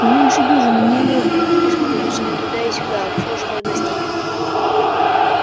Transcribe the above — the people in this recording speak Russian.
не меньше дюжины негров бегали с подносами туда и сюда обслуживая гостей